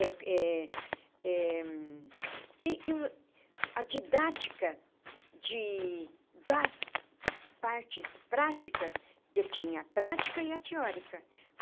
É é eh e e a didática de das partes práticas, que tinha a prática e a teórica.